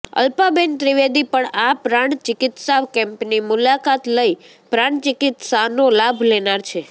અલ્પાબેન ત્રિવેદી પણ આ પ્રાણ ચિકિત્સા કેમ્પની મુલાકાતલઈ પ્રાણ ચિકિત્સાનો લાભ લેનાર છે